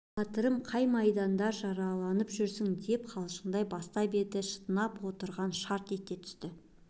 батырым қай майданда жараланып жүрсің деп қалжыңдай бастап еді шытынап отырған шарт ете түсті